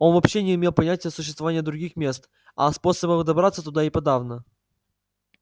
он вообще не имел понятия о существовании других мест а о способах добраться туда и подавно